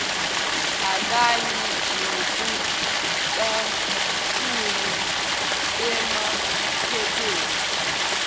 akanye nokucashunwe emaphepheni